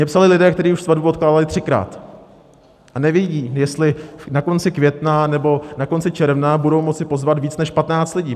Mně psali lidé, kteří už svatbu odkládali třikrát, a nevědí, jestli na konci května nebo na konci června budou moci pozvat víc než 15 lidí.